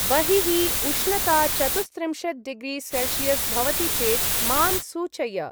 बहिः उष्णता चतुश्त्रिंशत्-डिग्री-सेल्षियस् भवति चेत् मां सूचय।